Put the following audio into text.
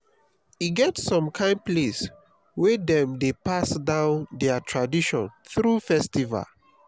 e get som kain place wey dem dey pass down dia tradition thru festival